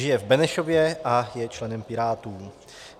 Žije v Benešově a je členem Pirátů.